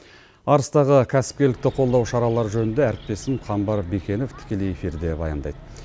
арыстағы кәсіпкерлікті қолдау шаралары жөнінде әріптесім қамбар бикенов тікелей эфирде баяндайды